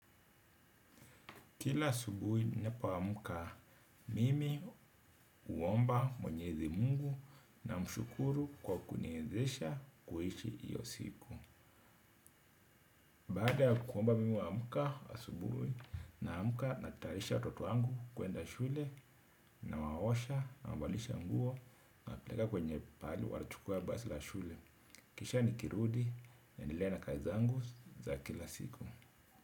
Kila asubuhi ninapoamka mimi huomba mwenyezi mungu namshukuru kwa kuniezesha kuishi iyo siku. Baada ya kuomba mimi huamka asubuhi naamka natayarisha watoto wangu kuenda shule nawaosha nawabadilisha nguo nawapeleka kwenye pahali wanachukua basi la shule. Kisha nikirudi naendelea na kazi zangu za kila siku.